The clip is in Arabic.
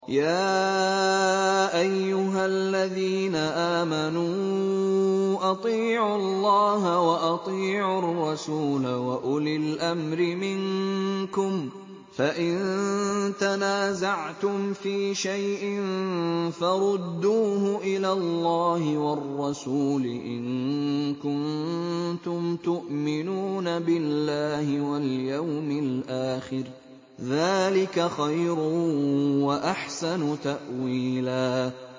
يَا أَيُّهَا الَّذِينَ آمَنُوا أَطِيعُوا اللَّهَ وَأَطِيعُوا الرَّسُولَ وَأُولِي الْأَمْرِ مِنكُمْ ۖ فَإِن تَنَازَعْتُمْ فِي شَيْءٍ فَرُدُّوهُ إِلَى اللَّهِ وَالرَّسُولِ إِن كُنتُمْ تُؤْمِنُونَ بِاللَّهِ وَالْيَوْمِ الْآخِرِ ۚ ذَٰلِكَ خَيْرٌ وَأَحْسَنُ تَأْوِيلًا